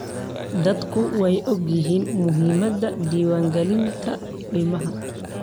Dadku way ogyihiin muhiimada diwaan galinta ilmaha.